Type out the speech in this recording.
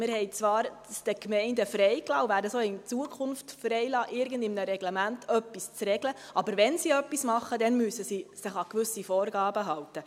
Wir haben es zwar den Gemeinden freigelassen, und werden es auch in Zukunft freilassen, in irgendeinem Reglement etwas zu regeln, aber wenn sie etwas tun, müssen sie sich an gewisse Vorgaben halten.